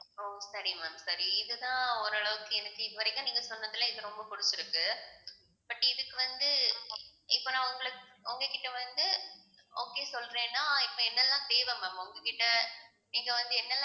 ஓ சரி ma'am சரி இதுதான் ஓரளவுக்கு எனக்கு இதுவரைக்கும் நீங்க சொன்னதில இது ரொம்ப புடிச்சிருக்கு but இதுக்கு வந்து இப்ப நான் உங்களை உங்ககிட்ட வந்து okay சொல்றேன்னா இப்ப என்னெல்லாம் தேவை ma'am உங்க கிட்ட நீங்க வந்து என்னல்லாம்